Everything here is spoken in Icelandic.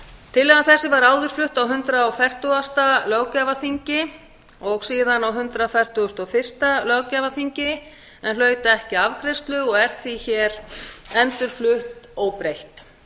tillaga þessi var áður flutt á hundrað og fertugasta löggjafarþingi og síðan á hundrað fertugasta og fyrsta löggjafarþingi en hlaut ekki afgreiðslu og er því hér endurflutt óbreytt